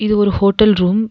இது ஒரு hotel room .